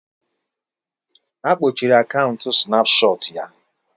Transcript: Akpochiri akaụntụ snapchaati ya